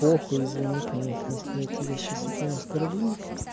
похуй извини конечно если я тебе сейчас этим оскорблю